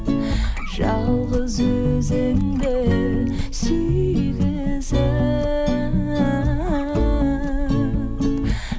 жалғыз өзіңді сүйгізіп